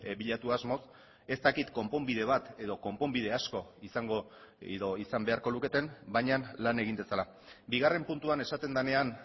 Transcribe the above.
bilatu asmoz ez dakit konponbide bat edo konponbide asko izango edo izan beharko luketen baina lan egin dezala bigarren puntuan esaten denean